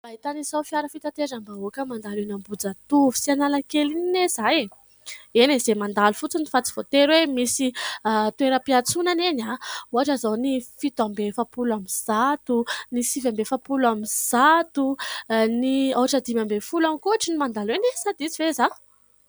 Mba hitanisao fiara fitateram-bahoaka mandalo eno Ambohijatovo sy Analakely iny anie zaho e, eny e, izay mandalo fotsiny fa tsy voatery hoe misy toeram-piantsonana eny a ! ohatra zao ny fito amby efapolo amby zato, ny sivy amby efapolo amby zato, ny haotra dimy ambin'ny folo ihany koa hoatran'ny mandalo e, sa diso ve izaho.